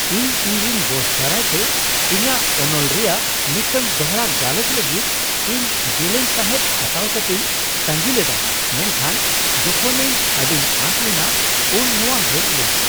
ᱤᱧ ᱤᱧᱨᱮᱱ ᱵᱚᱥ ᱫᱟᱨᱟᱭᱛᱮ ᱤᱧᱟᱹᱜ ᱚᱱᱚᱞ ᱨᱮᱭᱟᱜ ᱢᱤᱫᱴᱟᱝ ᱫᱚᱲᱦᱟ ᱜᱟᱞᱚᱪ ᱞᱟᱹᱜᱤᱫ ᱤᱧ ᱡᱮᱞᱮᱧ ᱥᱟᱸᱦᱮᱫ ᱦᱟᱛᱟᱣ ᱠᱟᱛᱤᱧ ᱛᱟᱺᱜᱤ ᱞᱮᱫᱟ, ᱢᱮᱱᱠᱷᱟᱱ ᱡᱚᱠᱷᱚᱱ ᱤᱧ ᱟᱹᱰᱤᱧ ᱟᱸᱥ ᱞᱮᱱᱟ ᱩᱱ ᱱᱚᱶᱟ ᱦᱮᱡ ᱞᱮᱱᱟ ᱾